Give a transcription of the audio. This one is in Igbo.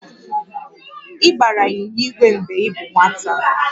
Ị gbara ịnyịnya igwe mgbe ị bụ nwata?